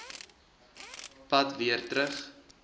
pad weer terug